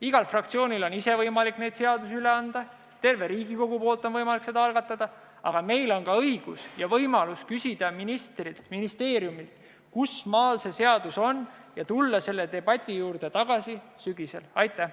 Igal fraktsioonil on võimalik seadusi üle anda, tervel Riigikogul on võimalik seda algatada, aga meil on ka õigus ja võimalus küsida ministrilt, ministeeriumilt, kusmaal see seadus on, ja tulla selle debati juurde tagasi sügisel?